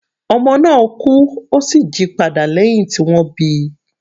Ọmọ náà kú, ó sì jí padà lẹ́hìn tí wọ́n bíi.